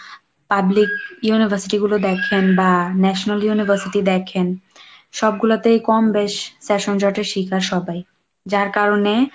public university গুলো দেখেন বা National University দেখেন সবগুলাতেই কম বেশ session জটের শিকার সবাই যার কারণে